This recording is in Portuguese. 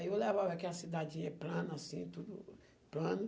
Aí eu levava ela, aquela cidadinha é plana, assim, tudo plano.